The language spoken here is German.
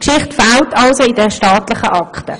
Diese Geschichte fehlt also in den staatlichen Akten.